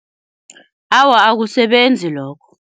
Awa akusebenzi lokho.